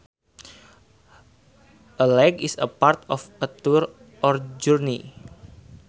A leg is part of a tour or journey